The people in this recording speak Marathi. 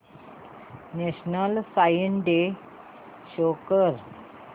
नॅशनल सायन्स डे शो कर